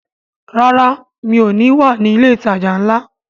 Rárá, mi ò ní wà ní ilé ìtajà ńlá